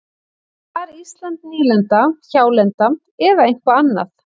Var Ísland nýlenda, hjálenda eða eitthvað annað?